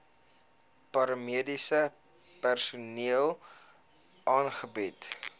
paramediese personeel aangebied